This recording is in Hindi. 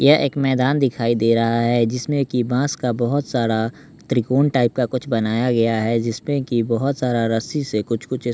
यह एक मैदान दिखाई दे रहा है जिसमें कि बाँस का बहुत सारा त्रिकोण टाइप का कुछ बनाया गया है जिसमें कि बहुत सारा रस्सी से कुछ कुछ इस --